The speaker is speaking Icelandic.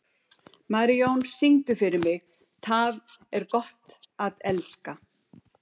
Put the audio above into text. Marijón, syngdu fyrir mig „Tað er gott at elska“.